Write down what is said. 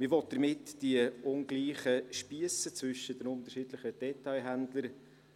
Man will damit die unterschiedlichen Spiesse zwischen den unterschiedlichen Detailhändlern